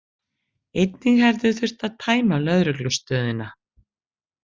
Einnig hefði þurft að tæma lögreglustöðina